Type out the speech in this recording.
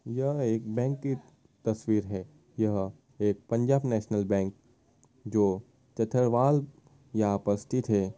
यह एक बैंक की तस्वीर है। यह एक पंजाब नेशनल बैंक जो यहा उपस्थित है।